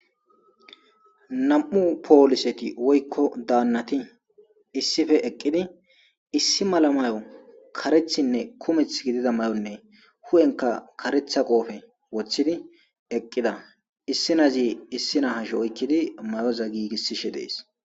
nam7u pooliseti woykko daannati issife eqqidi issi mala mayo karethinne kumeth gidida may7onne hu7enka karetha qoofe woththidi eqqida issi nazi issi nahasho oykkidi mayoza giigissishe dees